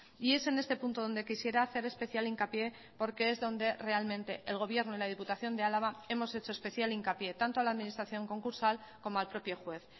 y es en este punto donde quisiera hacer especial hincapié porque es donde realmente el gobierno y la diputación de álava hemos hecho especial hincapié tanto a la administración concursal como al propio juez